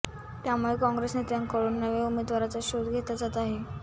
त्यामुळे काँग्रेस नेत्यांकडून नव्या उमेदवाराचा शोध घेतला जात आहे